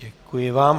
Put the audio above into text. Děkuji vám.